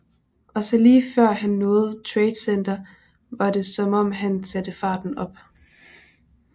Og så lige før han nåede Trade Center var det som om han satte farten op